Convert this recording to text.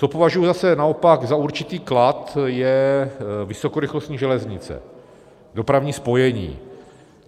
Co považuji zase naopak za určitý klad, je vysokorychlostní železnice, dopravní spojení.